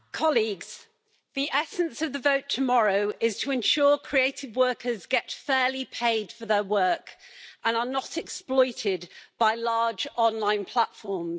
Mr President, colleagues, the essence of the vote tomorrow is to ensure creative workers get fairly paid for their work and are not exploited by large online platforms.